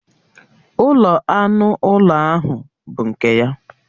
Ụlọ anụ ụlọ ahụ bụ nke ya